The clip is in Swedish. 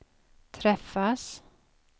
träffas